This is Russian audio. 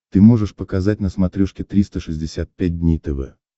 ты можешь показать на смотрешке триста шестьдесят пять дней тв